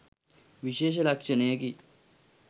විශේෂ ලක්‍ෂණයකි